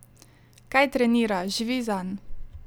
Kaj trenira, živi zanj!